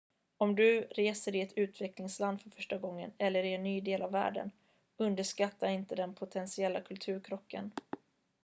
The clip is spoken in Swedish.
om du reser i ett utvecklingsland för första gången eller i en ny del av världen underskatta inte den potentiella kulturkrocken